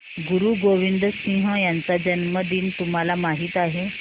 गुरु गोविंद सिंह यांचा जन्मदिन तुम्हाला माहित आहे